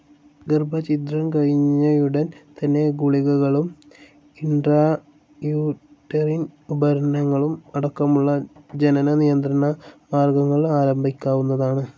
ഗർഭച്ഛിദ്രം കഴിഞ്ഞയുടൻ തന്നെ, ഗുളികകളും ഇൻട്രൌട്ടറിനെ ഉപകരണങ്ങളും അടക്കമുള്ള ജനന നിയന്ത്രണമാർഗ്ഗങ്ങൾ ആരംഭിക്കാവുന്നതാണ്.